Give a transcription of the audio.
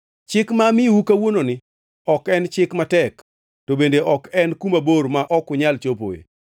Chik ma amiyou kawuononi ok en chik matek to bende ok en kuma bor ma ok unyal chopoe.